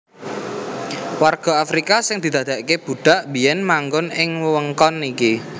Warga Afrika sing didadèkaké budhak biyèn manggon ing wewengkon iki